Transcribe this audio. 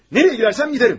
Hara gedərəmsə gedərəm.